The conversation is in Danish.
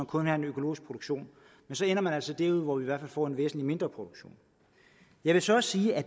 kun har en økologisk produktion men så ender man altså derude hvor vi i hvert fald får en væsentlig mindre produktion jeg vil så også sige at